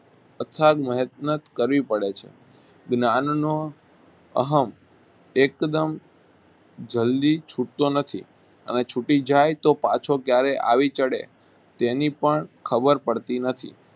અથાક મહેનત કરવી પડે છે જ્ઞાનનો અહમ એકદમ જલ્દી છૂટતો નથી અને છૂટી જાય તો પાછો ક્યારે આવી ચડે તેની પણ ખબર પડતી નથી